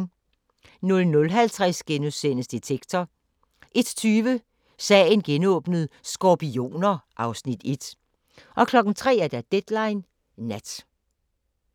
00:50: Detektor * 01:20: Sagen genåbnet: Skorpioner (Afs. 1) 03:00: Deadline Nat